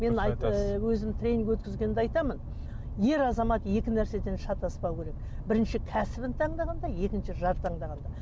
мен ы өзім тренинг өткізгенде айтамын ер азамат екі нәрседен шатаспауы керек бірінші кәсібін таңдағанда екінші жар таңдағанда